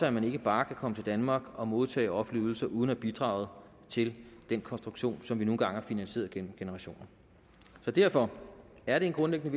at man ikke bare kan komme til danmark og modtage offentlige ydelser uden at have bidraget til den konstruktion som vi nu engang har finansieret gennem generationer derfor er det en grundlæggende